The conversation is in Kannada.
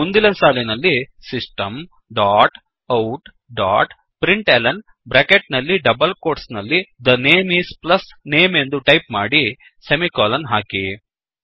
ಮುಂದಿನ ಸಾಲಿನಲ್ಲಿSystem ಡಾಟ್outಡಾಟ್println ಬ್ರ್ಯಾಕೆಟ್ ನಲ್ಲಿ ಡಬಲ್ ಕೋಟ್ಸ್ ನಲ್ಲಿThe ನೇಮ್ ಇಸ್ ಪ್ಲಸ್ ನೇಮ್ ಎಂದು ಟೈಪ್ ಮಾಡಿ ಸೆಮಿಕೋಲನ್ ಹಾಕಿ